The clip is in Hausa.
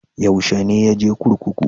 Yaushe ne ya je kurkuku?